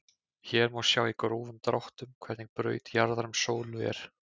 Hér má sjá í grófum dráttum hvernig braut jarðar um sólu er.